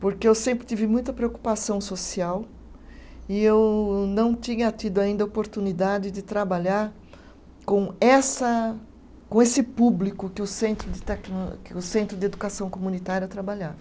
Porque eu sempre tive muita preocupação social e eu não tinha tido ainda a oportunidade de trabalhar com essa, com esse público que o Centro de Tecno, que o Centro de Educação Comunitária trabalhava.